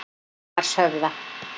Hamarshöfða